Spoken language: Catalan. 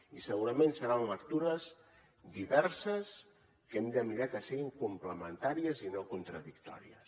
i segurament seran lectures diverses que hem de mirar que siguin complementàries i no contradictòries